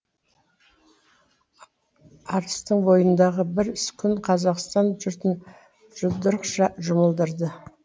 арыстың бойындағы бір күн қазақстан жұртын жұдырықша жұмылдырды